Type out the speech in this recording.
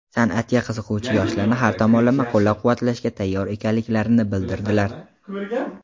san’atga qiziquvchi yoshlarni har tomonlama qo‘llab-quvvatlashga tayyor ekanliklarini bildirdilar.